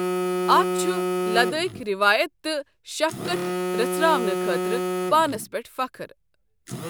اتھ چُھ لدٲخۍ ریوایت تہٕ سفقت رژھراونہٕ خٲطرٕ پانس پیٹھ فخر ۔